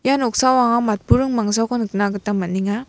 ia noksao anga matburing mangsako nikna gita man·enga.